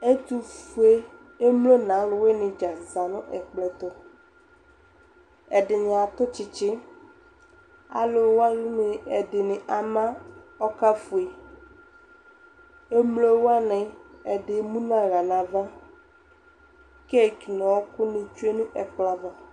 Ɛtufuɛ emlo n'alʋwini dzaa ni zã nʋ ɛkplɔ tʋ Ɛdini atʋ tsitsi, alʋwani ɛdini ama ɔka fue Emlo wani ɛdi emu n'aɣla n'ava k'ekele ɔkʋni tsue nʋ ɛkplɔ ava